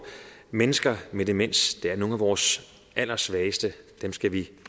mennesker med demens er nogle af vores allersvageste dem skal vi